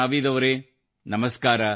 ನಾವೀದ್ ಅವರೇ ನಮಸ್ಕಾರ